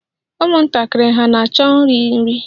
Ụmụntakịrị hà na-achọ iri nri?